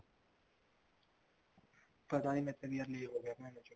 ਪਤਾ ਨੀ ਯਾਰ ਮੇਰੇ ਤੇ ਵੀ ਲੈ ਹੋਗਿਆ ਭੇਣਚੋ